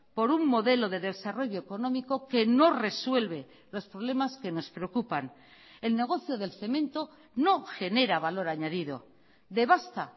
por un modelo de desarrollo económico que no resuelve los problemas que nos preocupan el negocio del cemento no genera valor añadido devasta